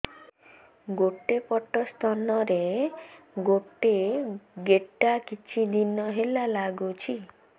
ଗୋଟେ ପଟ ସ୍ତନ ରେ ଗୋଟେ ଗେଟା କିଛି ଦିନ ହେଲା ଲାଗୁଛି